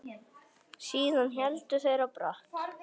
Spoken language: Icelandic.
Síðan héldu þeir á brott.